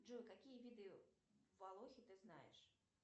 джой какие виды волохи ты знаешь